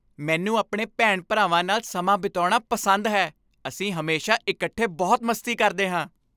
ਮੈਨੂੰ ਆਪਣੇ ਭੈਣਾਂ ਭਰਾਵਾਂ ਨਾਲ ਸਮਾਂ ਬਿਤਾਉਣਾ ਪਸੰਦ ਹੈ ਅਸੀਂ ਹਮੇਸ਼ਾ ਇਕੱਠੇ ਬਹੁਤ ਮਸਤੀ ਕਰਦੇ ਹਾਂ